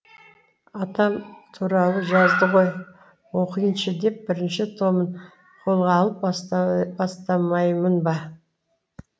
атам туралы жазды ғой оқиыншы деп бірінші томын қолға алып бастамаймын ба